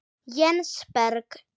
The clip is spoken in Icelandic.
Jens Berg.